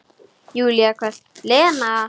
Júlía hvellt: Lena!